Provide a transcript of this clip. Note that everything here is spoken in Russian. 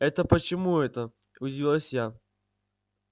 это почему это удивилась я